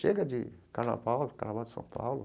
Chega de carnaval, carnaval em São Paulo.